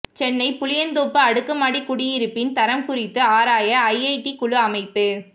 சென்னை புளியந்தோப்பு அடுக்குமாடி குடியிருப்பின் தரம் குறித்து ஆராய ஐஐடி குழு அமைப்பு